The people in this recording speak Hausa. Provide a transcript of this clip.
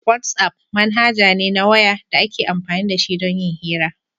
WhatsApp manhaja ne na waya da ake amfani da shi don yin hira